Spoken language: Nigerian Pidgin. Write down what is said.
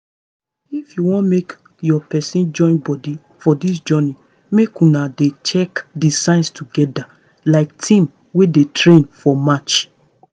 if you wan make your person join body for this journey make una dey check the signs together like team wey dey train for match.